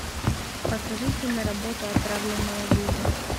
покажи киноработу отравленная жизнь